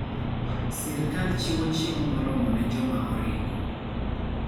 Sirkal chiwo chiemo moromo ne joma oringo.